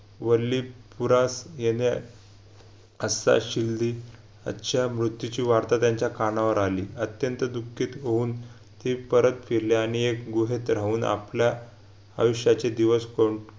वल्ली पुरात गेल्या अच्छा मृत्यूची वार्ता त्यांच्या कानावर आली अत्यंत दुःखित होऊन ती परत फिरली आणि एक गुहेत राहून आपला आयुष्याचे दिवस कोण